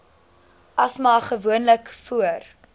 asma gewoonlik voor